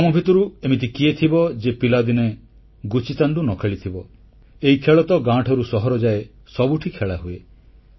ଆମ ଭିତରୁ ଏମିତି କିଏ ଥିବ ଯିଏ ପିଲାଦିନେ ଗୁଚିତାଣ୍ଡୁ ନ ଖେଳିଥିବ ଏହି ଖେଳ ତ ଗାଁଠାରୁ ସହର ଯାଏ ସବୁଠି ଖେଳାହୁଏ